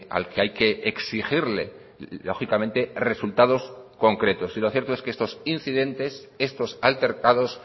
al que hay que exigirle lógicamente resultados concretos y lo cierto es que estos incidentes estos altercados